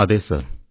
അതെ സർ